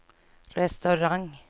restaurang